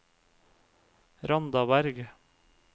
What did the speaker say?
Randaberg